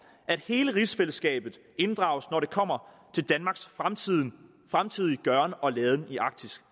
at hele rigsfællesskabet inddrages når det kommer til danmarks fremtidige fremtidige gøren og laden i arktis